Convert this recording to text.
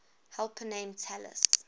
helper named talus